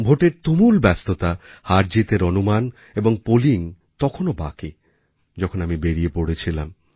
ভোটের তুমুল ব্যস্ততা হারজিতের অনুমান এবং পোলিং তখনও বাকি যখন আমি বেরিয়ে পড়েছিলাম